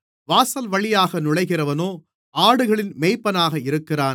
வாசல்வழியாக நுழைகிறவனோ ஆடுகளின் மேய்ப்பனாக இருக்கிறான்